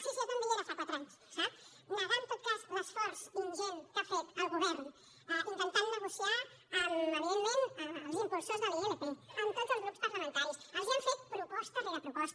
sí sí jo també hi era fa quatre anys sap negar en tot cas l’esforç ingent que ha fet el govern intentant negociar amb evidentment els impulsors de la ilp amb tots els grups parlamentaris els han fet proposta rere proposta